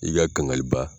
I ka kangaliba